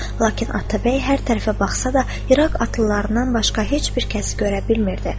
Lakin Atabəy hər tərəfə baxsa da, İraq atlılarından başqa heç bir kəsi görə bilmirdi.